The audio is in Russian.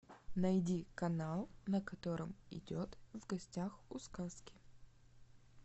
найди канал на котором идет в гостях у сказки